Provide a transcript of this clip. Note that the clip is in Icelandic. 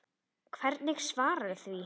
Hvernig svararðu því?